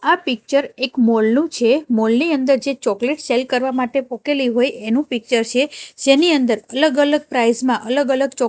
આ પિક્ચર એક મોલ નું છે મોલ ની અંદર જે ચોકલેટ સેલ કરવા માટે મુકેલી હોય એનું પિક્ચર છે જેની અંદર અલગ અલગ પ્રાઇઝ માં અલગ અલગ ચો--